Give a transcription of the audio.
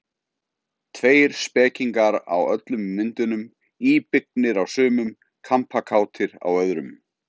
Tveir spekingar á öllum myndunum, íbyggnir á sumum, kampakátir á öðrum.